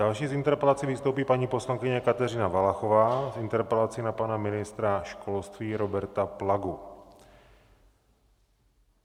Další s interpelací vystoupí paní poslankyně Kateřina Valachová s interpelací na pana ministra školství Roberta Plagu.